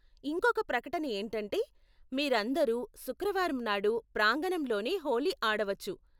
ఇంకొక ప్రకటన ఏంటంటే, మీరందరూ శుక్రవారం నాడు ప్రాంగణంలోనే హోళీ ఆడవచ్చు.